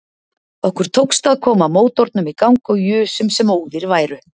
Okkur tókst að koma mótornum í gang og jusum sem óðir værum